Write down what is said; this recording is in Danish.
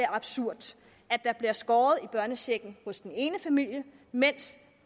absurd at der bliver skåret i børnechecken hos den ene familie mens